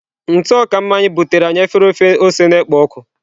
Ntụ ọka mmanya butere anyị efere ofe ose na-ekpo ọkụ.